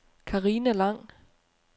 Carina Lang